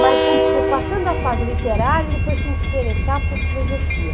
Mas, um, passando a fase literária, ele foi se interessar por filosofia.